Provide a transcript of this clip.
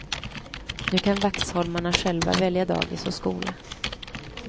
Nu kan vaxholmarna själva välja dagis och skola.